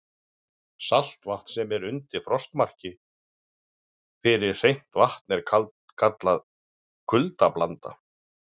Saltvatn sem er undir frostmarki fyrir hreint vatn er kallað kuldablanda.